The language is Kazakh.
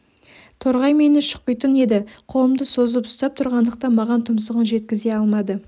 торғай мені шұқитын еді қолымды созып ұстап тұрғандықтан маған тұмсығын жеткізе алмады